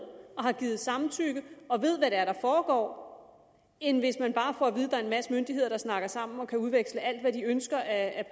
og har givet samtykke og ved hvad det er der foregår end hvis man bare får at vide at der er en masse myndigheder der snakker sammen og kan udveksle alt hvad de ønsker af